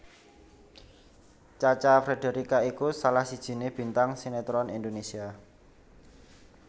Cha Cha Frederica iku salah sijiné bintang sinetron Indonésia